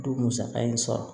Du musaka in sɔrɔ